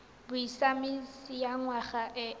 bosiamisi ya ngwana e e